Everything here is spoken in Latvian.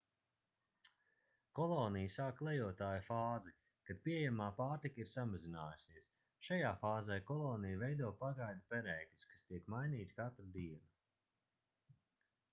kolonija sāk klejotāju fāzi kad pieejamā pārtika ir samazinājusies šajā fāzē kolonija veido pagaidu perēkļus kas tiek mainīti katru dienu